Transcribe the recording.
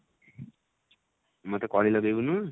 ମୋତେ କଳି ଲଗେଇବୁନୁ?